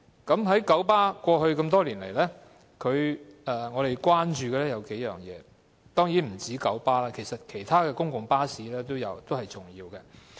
對於九巴的服務，過去多年來，我們關注的有數點，這當然不單是九巴，其他公共巴士公司的服務也是重要的。